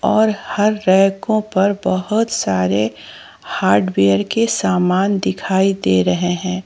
और हर रैको पर बहोत सारे हार्डवेयर के समान दिखाई दे रहे हैं।